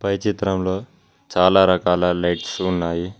పై చిత్రంలో చాలా రకాల లైట్స్ ఉన్నాయి.